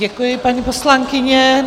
Děkuji, paní poslankyně.